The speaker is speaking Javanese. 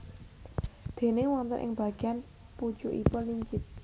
Déné wonten ing bageyan pucukipun lincip